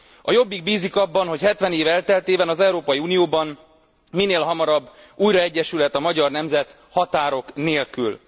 A Jobbik bízik abban, hogy 70 év elteltével az Európai Unióban minél hamarabb újra egyesülhet a magyar nemzet határok nélkül.